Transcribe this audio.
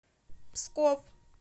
псков